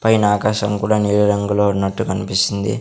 పైన ఆకాశం కూడా నీలి రంగులో ఉన్నట్టు కనిపిస్తుంది.